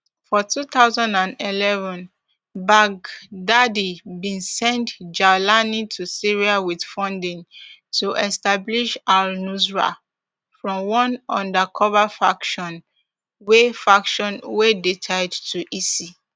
for two thousand and eleven baghdadi bin send jawlani to syria wit funding to establish alnusra front one undercover faction wey faction wey dey tied to isi